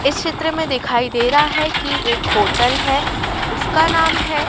इस चित्र में दिखाई दे रहा है कि एक होटल है उसका नाम है--